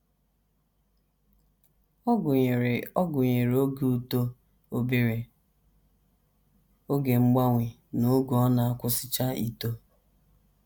Ọ gụnyere Ọ gụnyere oge uto, obere oge mgbanwe, na oge ọ na - akwụsịcha ito.